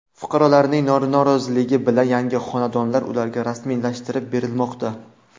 Fuqarolarning roziligi bilan yangi xonadonlar ularga rasmiylashtirib berilmoqda.